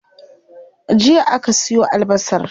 Jiya aka siyo albasar.